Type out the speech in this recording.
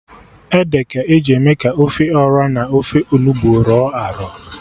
Ede ka eji eme ka ofe Ọra n'ofe Onugbu rọ arọ